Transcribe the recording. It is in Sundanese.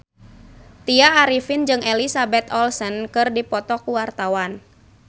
Tya Arifin jeung Elizabeth Olsen keur dipoto ku wartawan